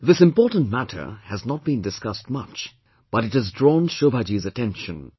This important matter has not been discussed much, but it has drawn Shobha Ji's attention